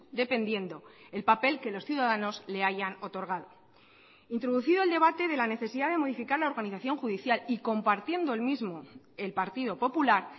dependiendo el papel que los ciudadanos le hayan otorgado introducido el debate de la necesidad de modificar la organización judicial y compartiendo el mismo el partido popular